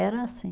Era assim.